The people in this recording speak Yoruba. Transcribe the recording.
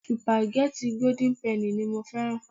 Supageti golden penny ni mo fẹ́ràn.